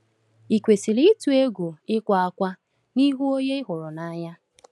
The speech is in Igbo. Ị kwesịrị ịtụ egwu ịkwa ákwá n’ihu onye ị hụrụ n’anya?